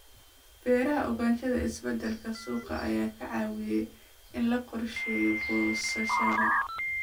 Beeraha Ogaanshaha isbeddelka suuqa ayaa ka caawiya in la qorsheeyo goosashada.